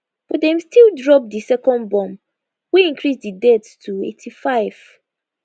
but dem still drop di second bomb wey increase di deaths to 85